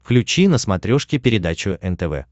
включи на смотрешке передачу нтв